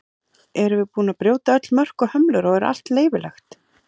Erum við búin að brjóta öll mörk og hömlur og er allt leyfilegt?